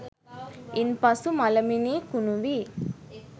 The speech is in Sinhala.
ඉන් පසු මළමිනී කුණු වී